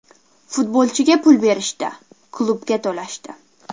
Futbolchiga pul berishdi, klubga to‘lashdi.